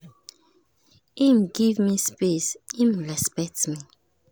him give me space him respect me.